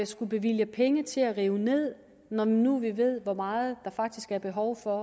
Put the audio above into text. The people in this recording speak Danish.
skulle bevilge penge til at rive ned når nu vi ved hvor meget der faktisk er behov for